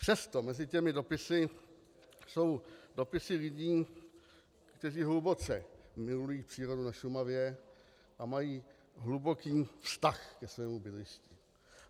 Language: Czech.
Přesto mezi těmi dopisy jsou dopisy lidí, kteří hluboce milují přírodu na Šumavě a mají hluboký vztah ke svému bydlišti.